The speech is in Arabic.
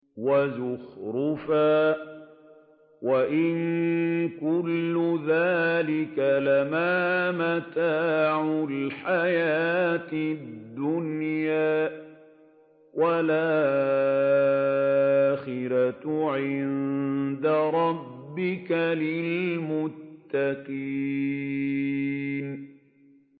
وَزُخْرُفًا ۚ وَإِن كُلُّ ذَٰلِكَ لَمَّا مَتَاعُ الْحَيَاةِ الدُّنْيَا ۚ وَالْآخِرَةُ عِندَ رَبِّكَ لِلْمُتَّقِينَ